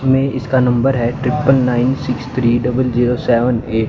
में इसका नंबर है triple nine six three double zero seven eight.